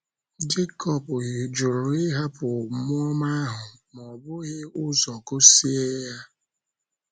Jekọb jụrụ ịhapụ mmụọ ọma ahụ ma ó bughị ụzọ gọzie ya.